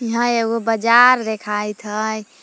इहां एगो बाजार देखाइत हइ।